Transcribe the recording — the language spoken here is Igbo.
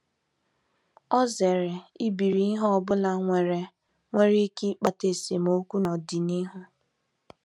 Ọ zere ibiri ihe ọ bụla nwere nwere ike ịkpata esemokwu n’ọdịnihu.